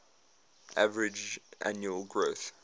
average annual growth